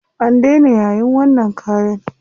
An daina yayin wannan kayan.